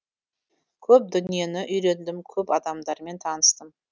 көп дүниені үйрендім көп адамдармен таныстым